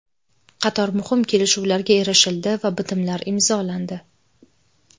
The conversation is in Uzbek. Qator muhim kelishuvlarga erishildi va bitimlar imzolandi.